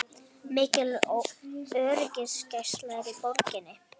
Mikil öryggisgæsla er í borginni